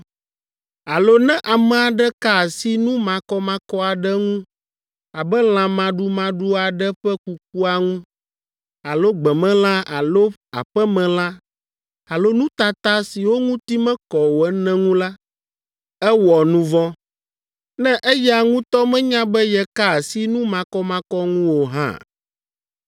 “ ‘Alo ne ame aɖe ka asi nu makɔmakɔ aɖe ŋu abe lã maɖumaɖua aɖe ƒe kukua ŋu, alo gbemelã alo aƒemelã alo nutata siwo ŋuti mekɔ o ene ŋu la, ewɔ nu vɔ̃, ne eya ŋutɔ menya be yeka asi nu makɔmakɔ ŋu o hã.